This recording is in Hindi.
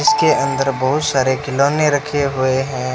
इसके अंदर बहुत सारे खिलौने रखे हुए हैं।